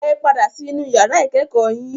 Ẹ padà sí inú yàrá ìkẹ́kọ̀ọ́ yín.